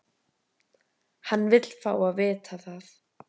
Hann vill fá að vita það.